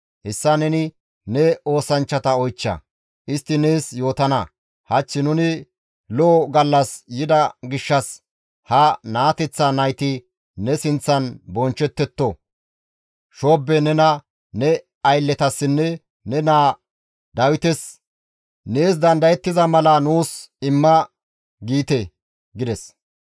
Hessa neni ne oosanchchata oychcha; istti nees yootana. Hach nuni lo7o gallas yida gishshas ha naateththa nayti ne sinththan bonchchettetto. Shoobbe nena ne aylletasinne ne naa Dawites nees dandayettiza mala nuus imma› giite» gides.